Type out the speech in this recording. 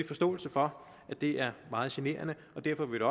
forståelse for at det er meget generende og derfor vil